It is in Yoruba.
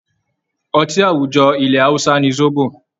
Ọtí àwùjọ ilẹ̀ Hausa ni Zobo